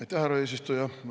Aitäh, härra eesistuja!